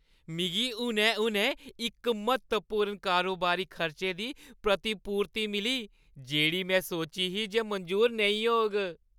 मिगी हुनै-हुनै इक म्हत्तवपूर्ण कारोबारी खर्चे दी प्रतिपूर्ति मिली जेह्ड़ी में सोची ही जे मंजूर नेईं होग।